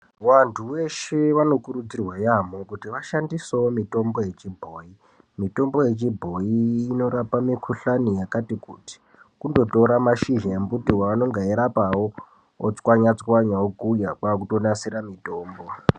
Vantu veshe vanokurudzirwa yamo, kuti vashandisewo mitombo yechibhoyi. Mitombo yechibhoyi inorapa mikhuhlani yakati kuti. Kundotora mashizha embuti wawunogaira pawo, wototsvanya tsvanya, wokuya kwakutonasira mitombo.